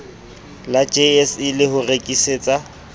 la jse le ho rekisetsa